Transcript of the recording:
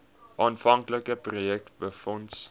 aanvanklike projek befonds